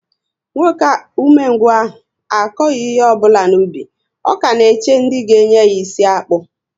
Nwoke ume ngwu ahụ akoghi ihe ọbụla n'ubi, ọ ka na-eche ndị ga enye ya isi akpu